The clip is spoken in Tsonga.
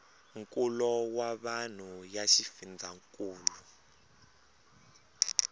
nkulo wa vanhu ya xifundzhankulu